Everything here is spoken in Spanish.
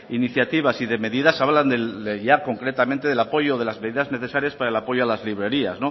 iniciativas y de medidas hablan del ya concretamente del apoyo a las medidas necesarias para el apoyo a las librerías